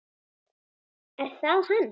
Er það hann?